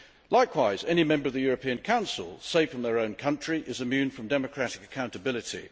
Likewise, any Member of the European Council, safe in their own country, is immune from democratic accountability.